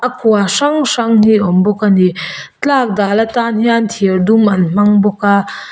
a kua hrang hrang hi a awm bawk ani tlak dal atan hian thir dum an hmang bawk a.